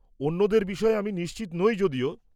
অন্যদের বিষয়ে আমি নিশ্চিত নই যদিও।